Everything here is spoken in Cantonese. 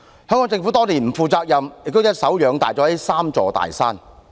香港政府多年來不負責任，亦一手養大了這"三座大山"。